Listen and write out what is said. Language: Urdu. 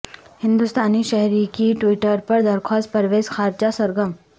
ہندوستانی شہری کی ٹویٹر پر درخواست پروزیر خارجہ سرگرم